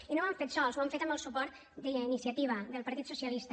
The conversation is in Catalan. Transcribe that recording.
i no ho han fet sols ho han fet amb el suport d’iniciativa del partit socialista